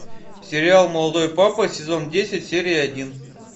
сериал молодой папа сезон десять серия один